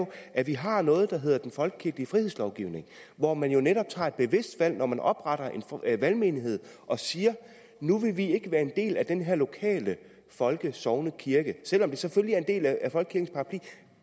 at vi har noget der hedder den folkekirkelige frihedslovgivning hvor man jo netop tager et bevidst valg når man opretter en valgmenighed og siger nu vil vi ikke være en del af den her lokale folkesognekirke selv om det selvfølgelig